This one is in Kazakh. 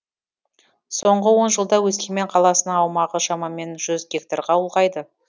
соңғы он жылда өскемен қаласының аумағы шамамен жүз гектарға ұлғайды